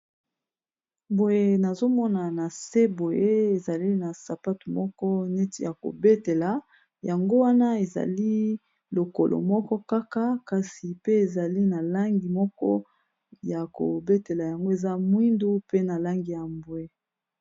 boye nazomona na se boye ezali na sapatu moko neti ya kobetela yango wana ezali lokolo moko kaka kasi pe ezali na langi moko ya kobetela yango eza mwindu pe na langi ya mbwe